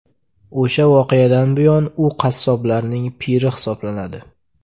O‘sha voqeadan buyon u qassoblarning piri hisoblanadi.